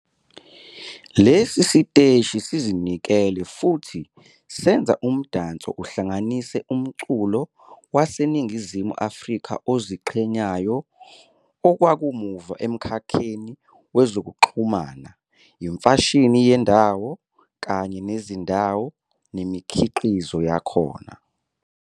Lesi siteshi sizinikele futhi senza umdanso uhlanganise umculo waseNingizimu Afrika oziqhenyayo, okwakamuva emkhakheni wezokuxhumana, imfashini yendawo, kanye nezindawo nemikhiqizo yakhona.